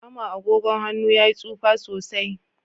Ama agogon han'nu ya yi tsufa sosai.